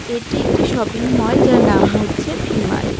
এটি একটি shopping mall যার নাম হচ্ছে ভি মার ।